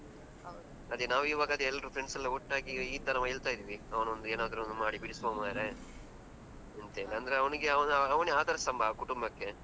ಇಲ್ಲ ಇಲ್ಲ ನಿನ್ನೆ admit ಮಾಡಿದ್ ನಾವು. ಅದೇ ನಾವು ಇವಾಗ ಅದೇ ಎಲ್ರು friends ಎಲ್ಲ ಒಟ್ಟಾಗಿ ಈ ತರ ಹೇಳ್ತ ಇದ್ವಿ, ಅವನೊಂದು ಏನಾದ್ರೂ ಒಂದು ಮಾಡಿ ಬಿಡಿಸುವ ಮಾರ್ರೆ ಅಂತ ಹೇಳಿ ಅಂದ್ರೆ. ಅಂದ್ರೆ ಅವನಿಗೆ ಅವಾಗ ಅವನೇ ಆಧಾರಸ್ತಂಬ ಆ ಕುಟುಂಬಕ್ಕೆ.